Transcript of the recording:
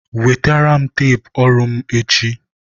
Wetere m teepu ọrụ mụ echi!